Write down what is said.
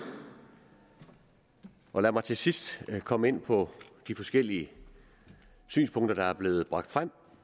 og lad mig til sidst komme ind på de forskellige synspunkter der er blevet bragt frem